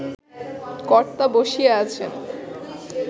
কর্তা বসিয়া আছেন